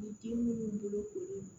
Ni den minnu bolo ko